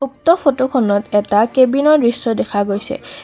উক্ত ফটো খনত এটা কেবিনৰ দৃশ্য দেখা গৈছে।